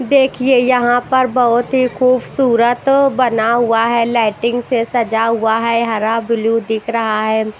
देखिए यहां पर बहुत ही खूबसूरत बना हुआ है लाइटिंग से सजा हुआ है हरा ब्लू दिख रहा है।